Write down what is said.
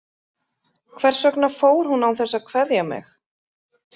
Hvers vegna fór hún án þess að kveðja mig?